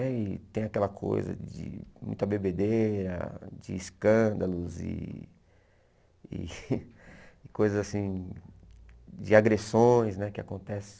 Né e tem aquela coisa de muita bebedeira, de escândalos e e coisas assim, de agressões né que acontecem.